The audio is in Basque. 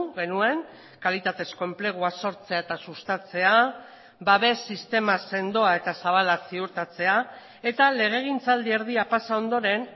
genuen kalitatezko enplegua sortzea eta sustatzea babes sistema sendoa eta zabala ziurtatzea eta legegintzaldi erdia pasa ondoren